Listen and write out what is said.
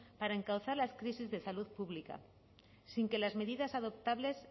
para encauzar las crisis de salud pública sin que las medidas adoptables